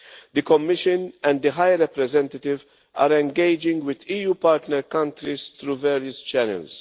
The Commission and the High Representative are engaging with EU partner countries through various channels.